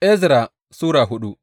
Ezra Sura hudu